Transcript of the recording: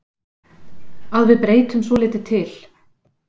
Að við breytum svolítið til.